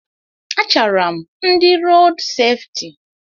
A chaara m ndị rood sefti.